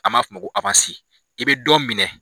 A m'a fɔ ko i bɛ dɔ minɛ